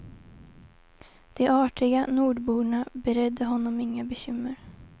De artiga nordborna beredde honom inga bekymmer.